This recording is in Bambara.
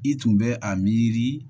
I tun bɛ a miiri